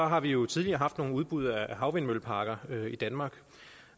har vi jo tidligere haft nogle udbud af havvindmølleparker i danmark